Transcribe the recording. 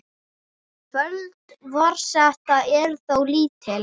Völd forseta eru þó lítil.